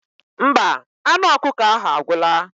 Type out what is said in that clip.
Mba, anụ ọkụkọ ahụ agwụla.